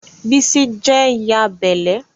bisi je t'y'a belle